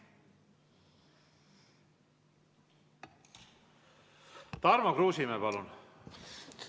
Tarmo Kruusimäe, palun!